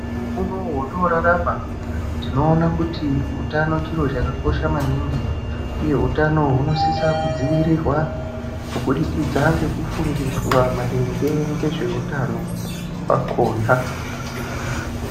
Mukuwo uno watino rarama tinoona kuti utano chiro chakakosha maningi uye utano huno sisa kudzivirirwa kubudikidza ngeku fundiswa maringe ngezve utano hwakona.